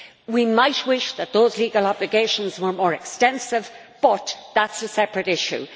We might wish that those legal obligations were more extensive, but that is a separate issue.